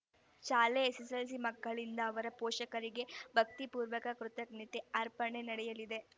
ಶಾಲೆ ಎಸ್ಸೆಸ್ಸೆಲ್ಸಿ ಮಕ್ಕಳಿಂದ ಅವರ ಪೋಷಕರಿಗೆ ಭಕ್ತಿಪೂರ್ವಕ ಕೃತಜ್ಞತೆ ಅರ್ಪಣೆ ನಡೆಯಲಿದೆ